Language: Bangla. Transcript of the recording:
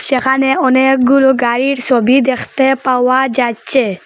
যেখানে অনেকগুলো গাড়ির সবী দেখতে পাওয়া যাচ্ছে।